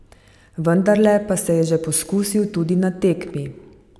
Vendarle pa se je že poskusil tudi na tekmi.